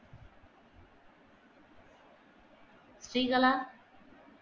Srikala